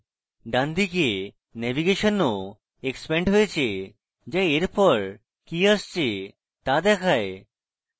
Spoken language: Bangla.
ডানদিকে navigation ও এক্সপ্যান্ড হয়েছে যা এরপর কি আসছে তা দেখায়